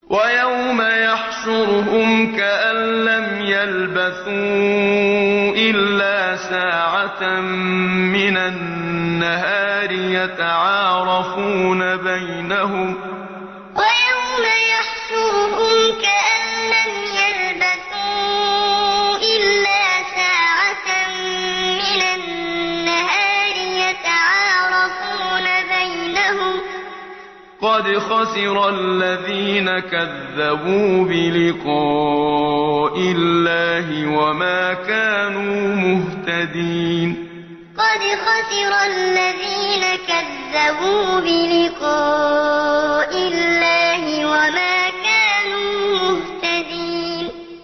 وَيَوْمَ يَحْشُرُهُمْ كَأَن لَّمْ يَلْبَثُوا إِلَّا سَاعَةً مِّنَ النَّهَارِ يَتَعَارَفُونَ بَيْنَهُمْ ۚ قَدْ خَسِرَ الَّذِينَ كَذَّبُوا بِلِقَاءِ اللَّهِ وَمَا كَانُوا مُهْتَدِينَ وَيَوْمَ يَحْشُرُهُمْ كَأَن لَّمْ يَلْبَثُوا إِلَّا سَاعَةً مِّنَ النَّهَارِ يَتَعَارَفُونَ بَيْنَهُمْ ۚ قَدْ خَسِرَ الَّذِينَ كَذَّبُوا بِلِقَاءِ اللَّهِ وَمَا كَانُوا مُهْتَدِينَ